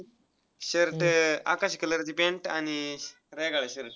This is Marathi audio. shirt आकाशी color ची pant आणि shirt आहे.